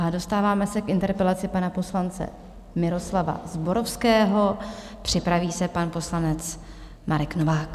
A dostáváme se k interpelaci pana poslance Miroslava Zborovského, připraví se pan poslanec Marek Novák.